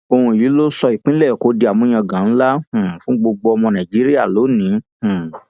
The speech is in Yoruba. òun yìí ló sọ ìpínlẹ èkó di àmúyangàn ńlá um fún gbogbo ọmọ nàìjíríà lónìín um